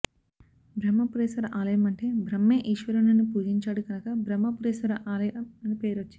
బ్రహ్మపురేశ్వర ఆలయం అంటే బ్రహ్మే ఈశ్వరుని పూజించినాడు కనుక బ్రహ్మపురేశ్వర ఆలయం అని పేరు వచ్చింది